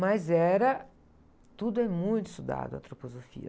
Mas era, tudo é muito estudado, antroposofia.